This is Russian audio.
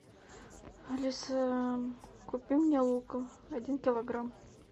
алиса купи мне лука один килограмм